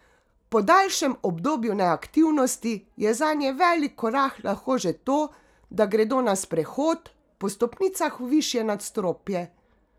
Po daljšem obdobju neaktivnosti, je zanje velik korak lahko že to, da gredo na sprehod, po stopnicah v višje nadstropje ...